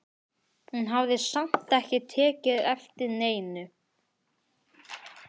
Hún hafði samt ekki tekið eftir neinu.